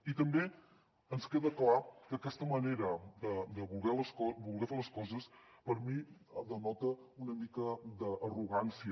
i també ens queda clar que aquesta manera de voler fer les coses per mi denota una mica d’arrogància